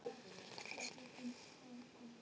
Hvern af nýju leikmönnunum bindur þú mestar vonir við?